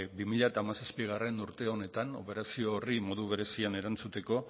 bi mila hamazazpigarrena urte honetan operazio horri modu berezian erantzuteko